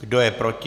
Kdo je proti?